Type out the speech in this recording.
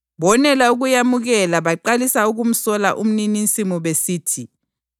Bonela ukuyamukela baqalisa ukumsola umnininsimu besithi,